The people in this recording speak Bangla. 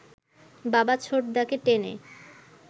বাবা ছোটদাকে টেনে